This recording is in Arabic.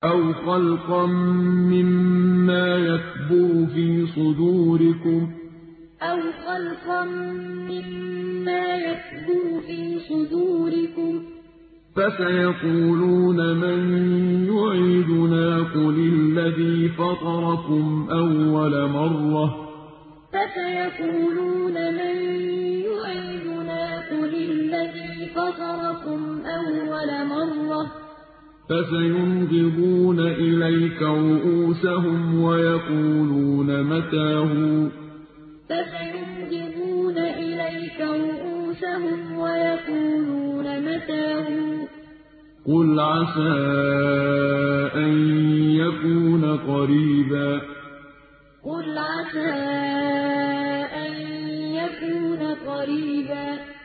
أَوْ خَلْقًا مِّمَّا يَكْبُرُ فِي صُدُورِكُمْ ۚ فَسَيَقُولُونَ مَن يُعِيدُنَا ۖ قُلِ الَّذِي فَطَرَكُمْ أَوَّلَ مَرَّةٍ ۚ فَسَيُنْغِضُونَ إِلَيْكَ رُءُوسَهُمْ وَيَقُولُونَ مَتَىٰ هُوَ ۖ قُلْ عَسَىٰ أَن يَكُونَ قَرِيبًا أَوْ خَلْقًا مِّمَّا يَكْبُرُ فِي صُدُورِكُمْ ۚ فَسَيَقُولُونَ مَن يُعِيدُنَا ۖ قُلِ الَّذِي فَطَرَكُمْ أَوَّلَ مَرَّةٍ ۚ فَسَيُنْغِضُونَ إِلَيْكَ رُءُوسَهُمْ وَيَقُولُونَ مَتَىٰ هُوَ ۖ قُلْ عَسَىٰ أَن يَكُونَ قَرِيبًا